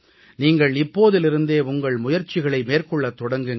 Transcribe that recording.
நீங்கள் இப்போதிலிருந்தே உங்கள் முயற்சிகளை மேற்கொள்ளத் தொடங்குங்கள்